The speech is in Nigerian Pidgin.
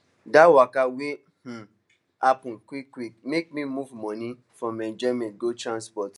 that waka wey um happen quickquick make me move money from enjoyment go transport